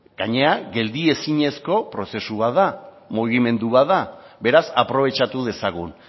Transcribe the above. gainera geldiezinezko prozesu bat da mugimendu bat da beraz aprobetxatu dezagun